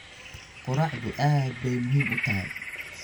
Quraacdu aad bay muhiim u tahay.